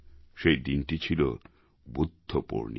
সেই দিনটি ছিল বুদ্ধপূর্ণিমা